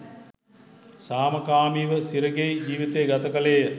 සාමකාමීව සිරගෙයි ජීවිතය ගත කළේය.